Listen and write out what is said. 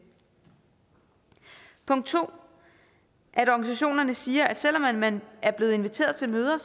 punkt 2 at organisationerne siger at selv om man er blevet inviteret til møder